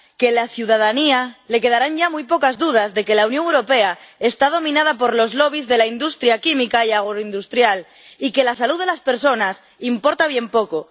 Que a la ciudadanía le quedarán ya muy pocas dudas de que la Unión Europea está dominada por los de la industria química y agroindustrial y que la salud de las personas importa bien poco.